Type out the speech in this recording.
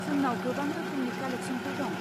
जोंनाव गोबां रोहोमनि कालेक्स'नफोर दं।